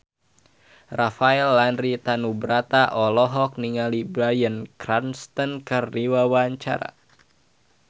Rafael Landry Tanubrata olohok ningali Bryan Cranston keur diwawancara